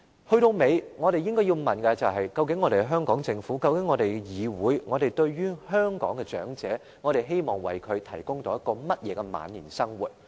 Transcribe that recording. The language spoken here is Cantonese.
歸根究底，我們應該要問的是究竟香港政府和立法會希望為香港的長者提供怎樣的晚年生活？